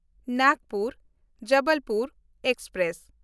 Nagpur Jabalpur express